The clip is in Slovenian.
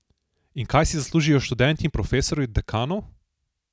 In kaj si zaslužijo študenti in profesorji od dekanov?